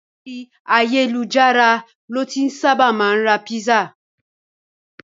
Ori ayelujara lo ti saba maa n ra pisa